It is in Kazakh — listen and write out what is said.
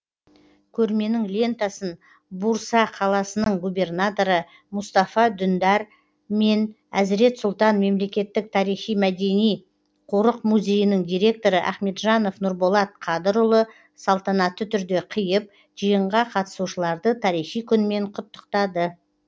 көрменің лентасын бурса қаласының губернаторы мұстафа дүндар мен әзірет сұлтан мемлекеттік тарихи мәдени қорық музейінің директоры ахметжанов нұрболат қадырұлы салтанатты түрде қиып жиынға қатысушыларды тарихи күнмен құттықтады